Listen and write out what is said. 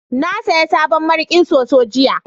na saya sabon mariƙin soso jiya